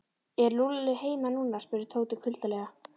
Er Lúlli heima núna? spurði Tóti kuldalega.